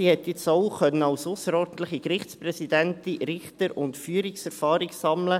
Sie konnte jetzt auch als ausserordentliche Gerichtspräsidentin Richter- und Führungserfahrung sammeln.